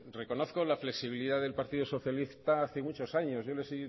reconozco la flexibilidad del partido socialista hace muchos años yo les